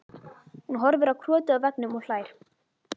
Hún horfir á krotið á veggnum og hlær.